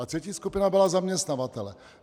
A třetí skupina byli zaměstnavatelé.